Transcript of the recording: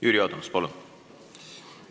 Jüri Adams, palun!